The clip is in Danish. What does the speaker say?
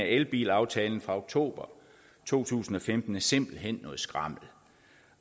elbilaftalen fra oktober to tusind og femten simpelt hen